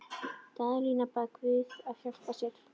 Daðína bað guð að hjálpa sér.